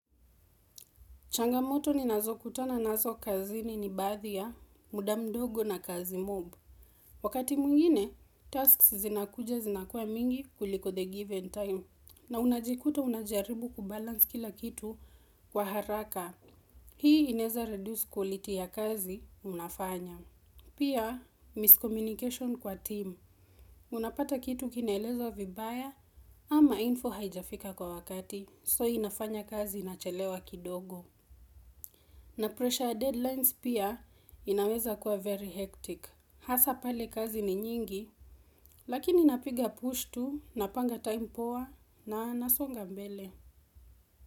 Changamoto ni nazo kutana nazo kazini ni bathia, muda mdogo na kazi mob. Wakati mwingine, tasks zinakuja zinakuwa mingi kuliko the given time. Na unajikuta unajaribu kubalance kila kitu kwa haraka. Hii ineza reduce quality ya kazi unafanya. Pia, miscommunication kwa team. Unapata kitu kinaelezwa vibaya ama info haijafika kwa wakati. So inafanya kazi inachelewa kidogo. Na pressure ya deadlines pia inaweza kuwa very hectic. Hasa pale kazi ni nyingi, lakini napiga push tu, napanga time poa, na nasonga mbele.